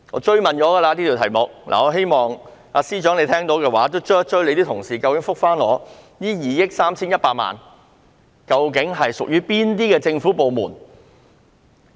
這個問題我已經追問，希望司長聽到後能夠追問他的同事，答覆我究竟這2億 3,100 萬元是屬於哪些政府部門？